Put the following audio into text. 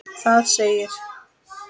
Það segir